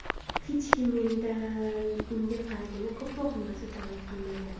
Hech kim mendan unga qaraganda ko‘proq narsa talab qilmagan.